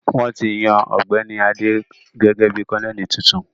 Wọ́n ti yan Ọ̀gbẹ́ni Adé gẹ́gẹ́ bí Kọ́nẹ́ẹ̀lì tuntun